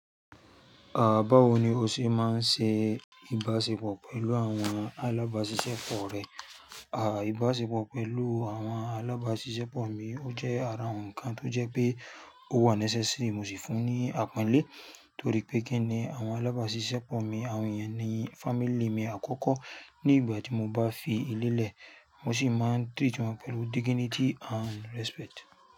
À, báwo ni o ṣe máa ń ṣe ìbáṣepọ̀ pẹ̀lú àwọn alábáṣiṣẹ́ pọ̀ rẹ? À, ìbáṣepọ̀ pẹ̀lú àwọn alábáṣiṣẹ́ pọ̀ mi, ó jẹ́ ara ǹkan tó jẹ́ pé ó wà necessary mo sì fún un ní àpọ́nlé. Torí pé kíni àwọn alábáṣiṣẹ́ pọ̀ mi, àwọn ènìyàn ní family mi àkọ́kọ́. Ní ìgbà tí mo bá fi ilé lẹ̀, mo sì máa ń treat wọn pẹ̀lú dignity and respect.